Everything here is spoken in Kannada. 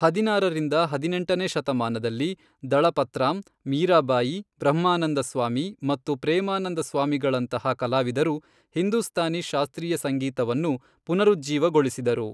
ಹದಿನಾರರಿಂದ ಹದಿನೆಂಟನೇ ಶತಮಾನದಲ್ಲಿ, ದಳಪತ್ರಾಮ್, ಮೀರಾಬಾಯಿ, ಬ್ರಹ್ಮಾನಂದ ಸ್ವಾಮಿ, ಮತ್ತು ಪ್ರೇಮಾನಂದ ಸ್ವಾಮಿಗಳಂತಹ ಕಲಾವಿದರು ಹಿಂದೂಸ್ತಾನಿ ಶಾಸ್ತ್ರೀಯ ಸಂಗೀತವನ್ನು ಪುನರುಜ್ಜೀವಗೊಳಿಸಿದರು.